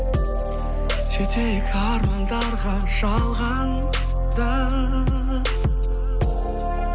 жетейік армандарға жалғанда